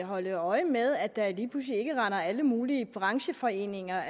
holde øje med at der ikke lige pludselig render alle mulige brancheforeninger